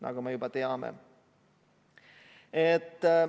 Seda me juba teame.